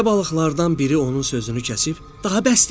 Rizə balıqlardan biri onun sözünü kəsib “Daha bəsdir!” dedi.